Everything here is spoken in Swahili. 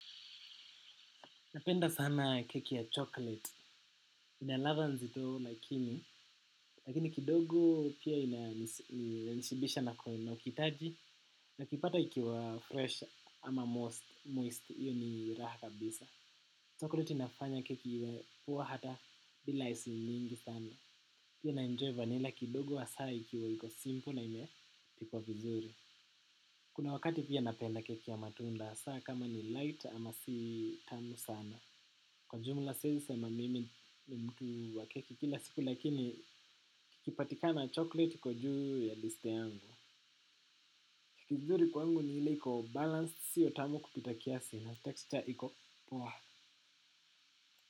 Napenda sana keki ya chocolate, inaladha nzitoo lakini, lakini kidogo pia inanishibisha na kwenu na ukitaji, na kipata ikiwa fresh ama moist, iyo ni raha kabisa. Chocolate inafanya keki iwe poa hata bila icing mingi sana. Pia naenjoy vanila kidogo hasaa ikiwa hiko simple na ime pikwa vizuri. Kuna wakati pia napenda keki ya matunda, hasaa kama ni light ama si tamu sana. Kwa jumla siezi sema mimi ni mtu wa keki kila siku lakini kikipatikana chocolate kwa juu ya liste yangu. Kizuri kwangu ni ile ko balanced sio tamu kupita kiasi na texture iko poa.